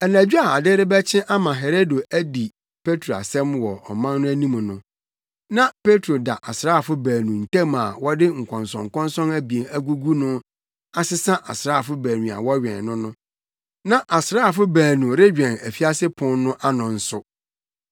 Anadwo a ade rebɛkye ama Herode adi Petro asɛm wɔ ɔman no anim no, na Petro da asraafo baanu ntam a wɔde nkɔnsɔnkɔnsɔn abien agugu no asesa asraafo baanu a wɔwɛn no no. Na asraafo baanu rewɛn afiase pon no ano nso.